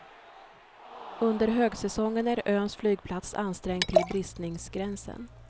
Under högsäsongen är öns flygplats ansträngd till bristningsgränsen.